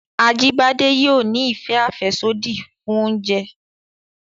Ajíbádé yóò ni ìfẹ àfẹ́sódì fún oúnjẹ